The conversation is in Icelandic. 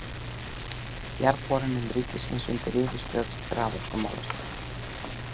Jarðborunum ríkisins undir yfirstjórn raforkumálastjóra.